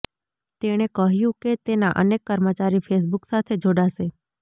તેણે કહ્યું કે તેના અનેક કર્મચારી ફેસબુક સાથે જોડાશે